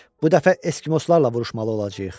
Bu dəfə Eskimoslarla vuruşmalı olacağıq.